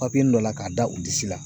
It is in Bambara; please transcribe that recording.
Papiyenin dɔ la k'a da u disi la.